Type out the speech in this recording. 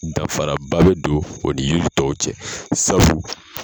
Danfaraba bɛ don o ni yiri tɔw cɛ sabu